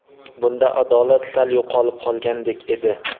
Bunda adolat sal yo‘qolib qolgandek edi.